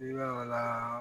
I b'a la